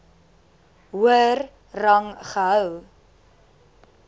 hoër rang gehou